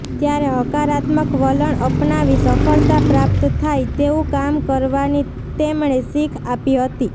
ત્યારે હકારાત્મક વલણ અપનાવી સફળતા પ્રાપ્ત થાય તેવું કામ કરવાની તેમણે શીખ આપી હતી